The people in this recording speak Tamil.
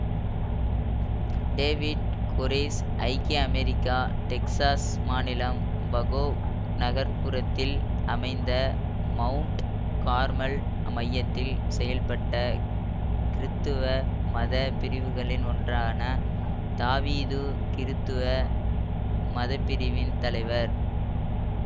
டேவிட் கொரேஷ் ஐக்கிய அமெரிக்கா டெக்சாஸ் மாநிலம்வகோ நகர்புறத்தில் அமைந்த மவுண்ட் கார்மல் மையத்தில் செயல்பட்ட கிறித்தவ மத பிரிவுகளில் ஒன்றான தாவீது கிறித்தவ மதப்பிரிவின் தலைவர்